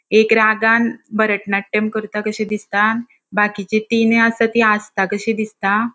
एक रागान भरतनाट्यम करता कशी दिसता बाकीची तिनय असा ती हासता कशी दिसता.